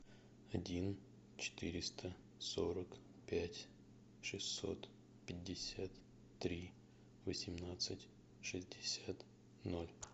один четыреста сорок пять шестьсот пятьдесят три восемнадцать шестьдесят ноль